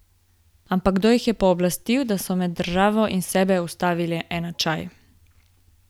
Ampak kdo jih je pooblastil, da so med državo in sebe vstavili enačaj?